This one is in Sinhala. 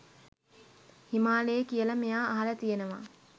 හිමාලයේ කියලා මෙයා අහලා තියෙනවා.